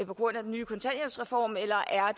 på grund af den nye kontanthjælpsreform eller er